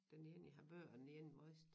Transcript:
Den ene i Harboøre og den ene Vrist